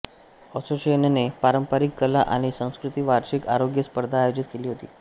असोसिएशनने पारंपारिक कला आणि संस्कृती वार्षिक आरोग्य स्पर्धा आयोजित केली होती